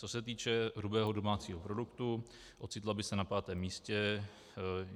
Co se týče hrubého domácího produktu, ocitla by se na pátém místě.